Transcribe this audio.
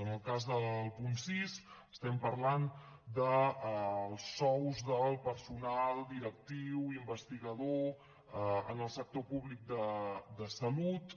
en el cas del punt sis estem parlant dels sous del personal directiu investigador en el sector públic de salut